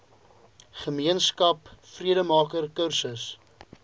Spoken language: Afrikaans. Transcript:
gemeenskap vredemaker kursus